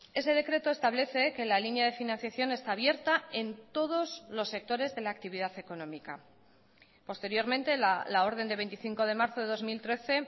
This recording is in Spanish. ese decreto establece que la línea de financiación está abierta en todos los sectores de la actividad económica posteriormente la orden de veinticinco de marzo de dos mil trece